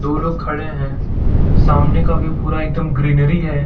दो लोग खड़े हैं सामने का व्यू पूरा एकदम ग्रीनरी है।